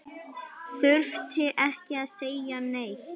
Þurfti ekki að segja neitt.